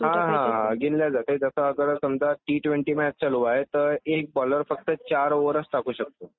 हा हा , गिनल्या जाते की जसं आपलं टी ट्वेंटी मॅच चालू आहे तर एक बोलर फक्त चार ओवरच टाकू शकतो.